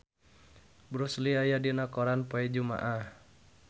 Bruce Lee aya dina koran poe Jumaah